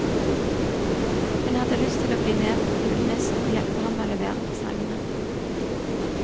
Hun hadde lyst til å bli med julenissen og hjelpe ham med å levere presangene.